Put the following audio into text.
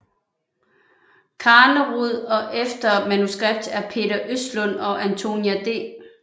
Carnerud og efter manuskript af Peter Östlund og Antonia D